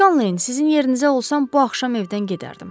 Skaleyn, sizin yerinizə olsam bu axşam evdən gedərdim.